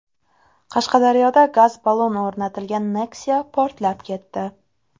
Qashqadaryoda gaz-ballon o‘rnatilgan Nexia portlab ketdi.